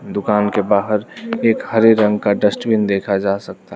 दुकान के बाहर एक हरे रंग का डस्टबिन देखा जा सकता--